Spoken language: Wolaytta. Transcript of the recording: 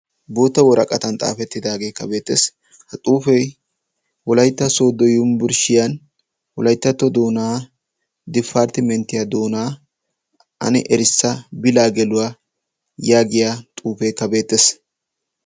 bootta woraqatan xaafettidaagee kabeettes ha xuufei wolaitta soodo yumbburshshiyan woaittatto doonaa difarttimenttiya doonaa ani erissa bilaa geluwaa yaagiya xuufee kabeettees